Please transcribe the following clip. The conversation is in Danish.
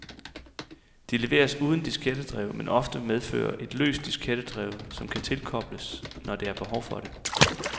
De leveres uden diskettedrev, men ofte medfølger et løst diskettedrev, som kan tilkobles, når der er behov for det.